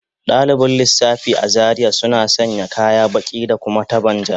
Dalibin lissafi a Zaria suna sanya kaya baki da kuma taban ja